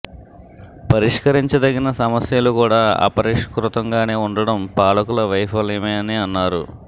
పరిష్కరించదగిన సమస్యలు కూడా అపరిష్కృతంగానే ఉండడం పాలకుల వైఫల్యమే అని అన్నారు